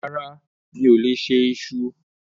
Rárá, mi ò lè se iṣu.